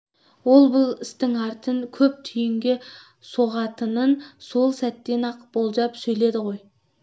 ол бұл істің арты көп түйінге соғатынын сол сәтте-ақ болжап сөйледі ғой